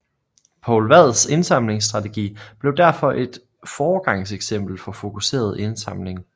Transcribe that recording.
Poul Vads indsamlingsstrategi blev derfor et foregangseksempel for fokuseret indsamling